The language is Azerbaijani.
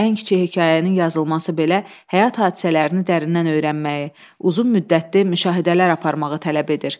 Ən kiçik hekayənin yazılması belə həyat hadisələrini dərindən öyrənməyi, uzun müddətli müşahidələr aparmağı tələb edir.